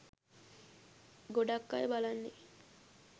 ගොඩක් අය බලන්නේ